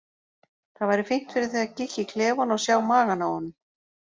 Það væri fínt fyrir þig að kíkja í klefann og sjá magann á honum,